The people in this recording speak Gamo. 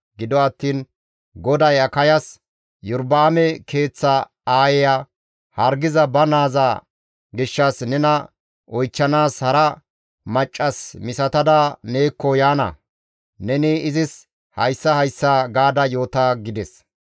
Gido attiin GODAY Akayas, «Iyorba7aame keeththa aayeya hargiza ba naaza gishshas nena oychchanaas hara maccas misatada neekko yaana; neni izis hayssa hayssa gaada yoota» gides.